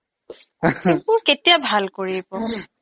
সেইবোৰ কেতিয়া ভাল কৰিব